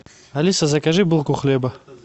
алиса закажи булку хлеба